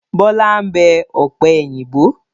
Bọlá ń bẹ ọ̀pẹ̀yìnbo.